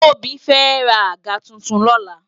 Tobi fè rá ágà tútún lòlá